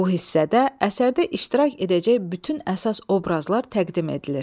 Bu hissədə əsərdə iştirak edəcək bütün əsas obrazlar təqdim edilir.